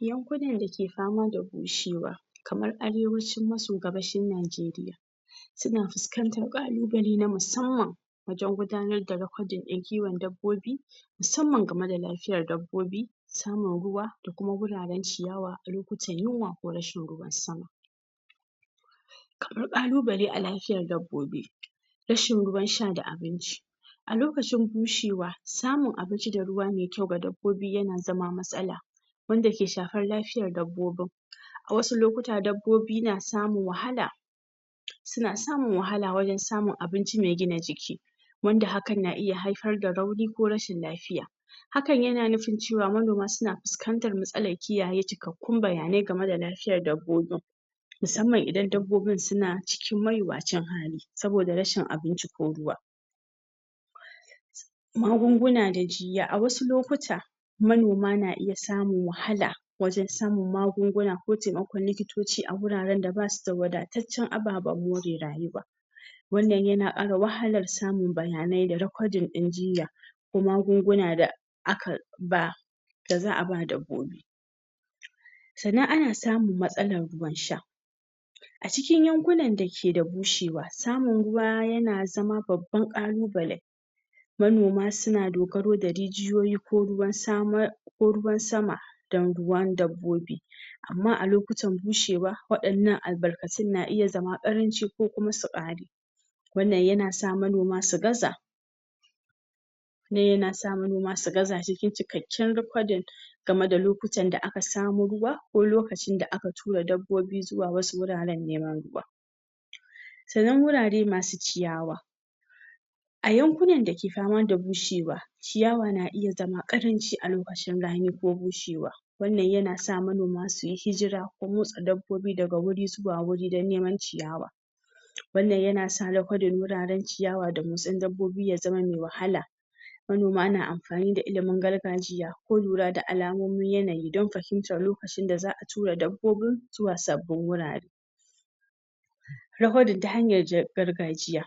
Yankunan dake fama da bushewa kamar arewaci maso gabashin Naijeriya suna fuskantan ƙalubale na musamman wajen gudanar da rekodin ɗin kiwon dabbobi musamman game da lafiyan dabbobi saman ruwa da kuma guraran ciyawa lokutan yinwa ko rashin ruwan sama ƙalu bale a lafiyan dabbobi rashin ruwan sha da abinci alokacin bushewa samun abinci da ruwa mai kyau ga dabbobi yana zama matsala wanda ke shafar lafiyan dabbobin wasu lokutan dabbobi na samun wahala suna samun wahala wajen samun abinci megina jiki wanda hakan na iya haifar da rauni ko rashin lafiya hakan yana nufin cewa manoma suna fuskantan matsalal kiyaye cikak kun bayanai gama da lafiyan dabbobin musamman idan dabbobin suna cikin mayuwacin hali saboda rashin abinci ko ruwa magunguna da jiya a wasu lokuta manima na iya samun wahala wajan samun magunguna kotemakon liki toci a guraran dabasu da wada tacen ababan more rayuwa wannan yana ƙara wahalar samun bayanai da rekodinɗin jinya ko magunguna da aka ba da za aba dabbobi sannan ana samun matsalan ruwan sha acikin yankunan dake bushewa samun ruwa yana zama babban ƙalu bale manoma suna dogoro da rijiyoyi ko ruwan samar ko ruwan sama dan ruwan dabbobi amma alokutan bushewa waɗannan albar kacin na iya zama ƙaranci ko kuma su ƙare wannan yanasa manoma su gaza nan yanasa manoma su gaza cikin cikenkin rikodin gama da lokutan da aka samo ruwa ko lokacin da aka tura wasu dabbobi zuwa wasu guraran nemo ruwa sannan wurare masu ciyawa ayankunan dake fama da bushewa ciyawa na iya zama ƙaranci alokacin rani ko bushewa wannan yanasa manoma suyi hijira ko motsa dab bobi daga guri zuwa guri dan neman ciyawa wannan yanasa rikodin guraran ciyawa da motsin dabbobi yazama wahala manoma na amfani da ilimin gargajiya ko lura da alamomin yanayi dan fahimtar lo kacin da za a tura dabbobin zuwa sabbin gurare rekodin ta hanyar gargajiya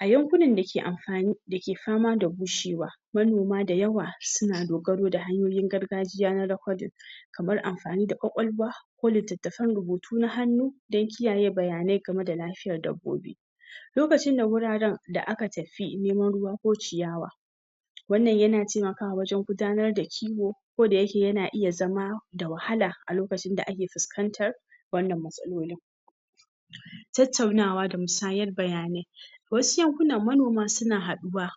ayankunnan dake fama da bushewa manoma da yawa suna dogoro da hanyoyin na gargajiya na rekodin kamar amfani da kwakwalwa ko litattafan rubutu na hannu dan kiyaye bayanai gama da lafiyan dabbobi lokacin da guraran da aka tafi neman ruwa ko ciyawa wannan yana temakawa wajan gudanar da kiwo ko da yake yana iya zama da wahala alokacin da ake fuskantar wannan matsalolin tattaunawa da musayar bayanai wasu yankunan manoma suna haɗuwa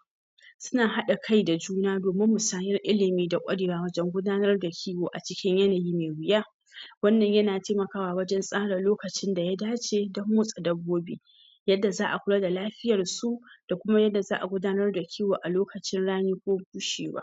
suna haɗa kai da juna domin misayar ilimi da korewa wajan gudanara da kiwo acikin yanayi me wiya wannan yana temakawa wajan tsara lo kacin daya dace dan motsa dabbobi yadda za a kula da lafiyar su da kuma yadda za a gudanar da kiwo a lokacin rani ko bushewa